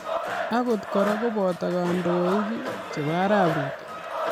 Akot kora koboto kandoik chebo arap ruto